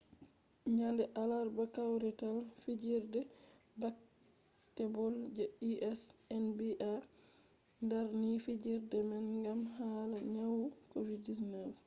nyande alarba kawrital fijerde baketbol je us nba darni fijerde man gam hala nyawu covid-19